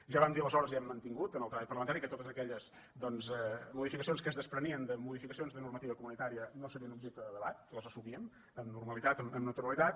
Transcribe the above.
ja vam dir aleshores i hem mantingut en el tràmit parla·mentari que totes aquelles doncs modificacions que es desprenien de modificacions de normativa comunitària no serien objecte de debat les assumíem amb norma·litat amb naturalitat